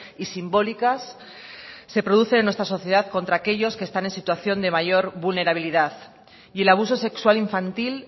y simbólicas que se producen en nuestra sociedad contra aquellos que están en situación de mayor vulnerabilidad y el abuso sexual infantil